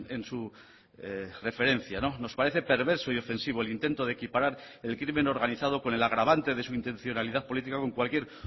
en su referencia nos parece perverso y ofensivo el intento de equiparar el crimen organizado con el agravante de su intencionalidad política con cualquier